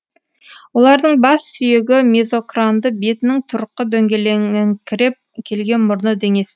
олардың бас сүйегі мезокранды бетінің тұрқы дөңгеленіңкіреп келген мұрны деңестеу